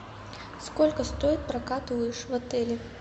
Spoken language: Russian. сколько стоит прокат лыж в отеле